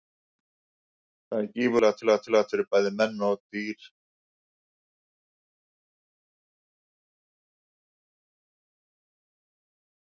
Það er gífurlega mikilvægt fyrir bæði menn og dýr að geta lært af reynslunni.